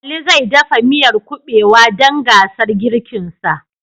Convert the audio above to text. Ali zai dafa miyar Kuɓewa dan gasar girkinsa